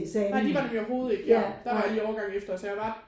Nej de var nemlig overhovedet ikke ja der var jeg lige årgangen efter så jeg var